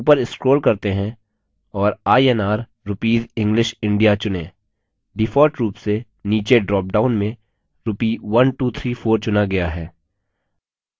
ऊपर scroll करते हैं और inr rupees english india चुनें default rupees से नीचे ड्रॉपडाउन में rupee 1234 चुना गया है